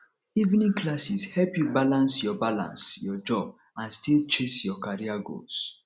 evening classes help you balance your balance your job and still chase your career goals